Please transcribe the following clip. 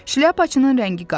Şlyapaçının rəngi qaçdı.